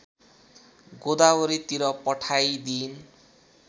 गोदावरीतिर पठाइदिइन्